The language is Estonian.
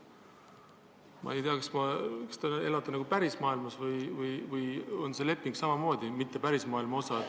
Ma ei tea, kas te elate ikka päris maailmas ja kas see leping ikka on päris maailma osa.